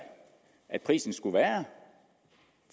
at prisen skulle være